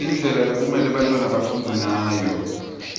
indlela lekumelwe bantfwana bafundze ngayo